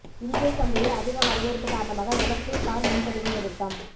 இந்திய சந்தையில் அதிக வரவேற்பு காரணமாக எலெக்ட்ரிக் கார் முன்பதிவு நிறுத்தம்